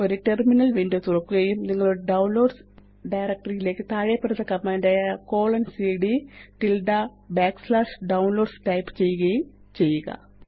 ഒരു terminal window തുറക്കുകയും നിങ്ങളുടെ ഡൌൺലോഡ്സ് ഡയറക്ടറി യിലേയ്ക്ക് താഴെപ്പറയുന്ന കമാന്റായ160cd Downloads ടൈപ്പ് ചെയ്യുകയും ചെയ്യുക